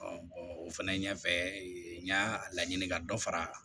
o fɛnɛ ɲɛfɛ n y'a laɲini ka dɔ fara